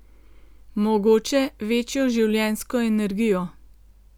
Mogoče večjo življenjsko energijo.